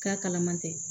K'a kalaman tɛ